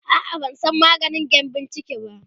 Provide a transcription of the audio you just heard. a'a ban San maganin gyambun ciki ba